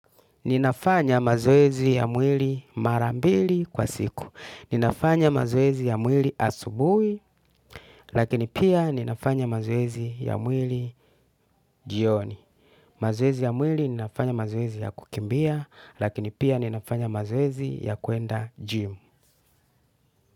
Ninafanya mazoezi ya mwili marambili kwa siku. Ninafanya mazoezi ya mwili asubuhi lakini pia ninafanya mazoezi ya mwili jioni. Mazoezi ya mwili ninafanya mazoezi ya kukimbia, lakini pia ninafanya mazoezi ya kuenda jim.